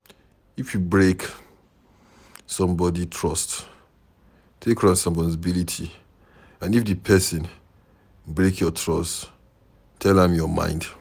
If you break somebody trust, take responsibility and if di person break your trust tell am your mind